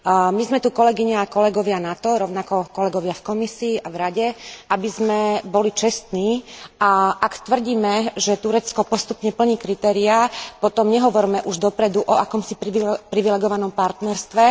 My sme tu, kolegyne a kolegovia, rovnako kolegovia v Komisii a v Rade, na to, aby sme boli čestní, a ak tvrdíme, že Turecko postupne plní kritériá, potom nehovorme už dopredu o akomsi privilegovanom partnerstve.